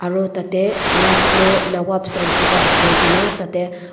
Aro tatey Lucknow Nawabs and Kebab koikena